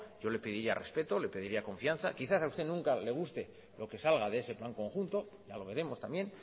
yo le pediría respeto le pediría confianza quizás a usted nunca le guste lo que salga de ese plan conjunto ya lo veremos también